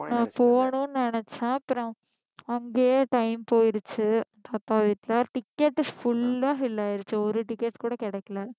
நான் போகணும்னு நினைச்சேன் அப்புறம் அங்கயே time போயிடுச்சு அப்பா வீட்டுல ticket full ஆ fill ஆயிடுச்சு ஒரு ticket கூட கிடைக்கல